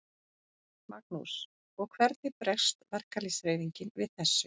Magnús: Og hvernig bregst verkalýðshreyfingin við þessu?